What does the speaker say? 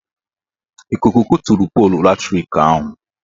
Ikuku kuturu polu latrik ahụ.